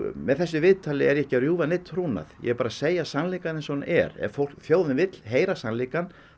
með þessu viðtali er ég ekki að rjúfa neinn trúnað ég er bara að segja sannleikann eins og hann er ef þjóðin vill heyra sannleikann